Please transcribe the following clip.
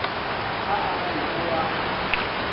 ha a re o a